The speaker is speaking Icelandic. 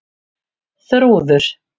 Þrúður